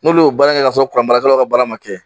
N'olu y'o baara in kɛ k'a sɔrɔ kuran barakɛlaw ka baara ma kɛ